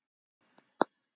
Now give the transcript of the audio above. BARA tvö orð?